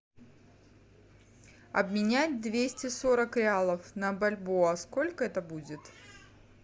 обменять двести сорок реалов на бальбоа сколько это будет